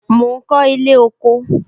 Mo ń kọ ilé kóko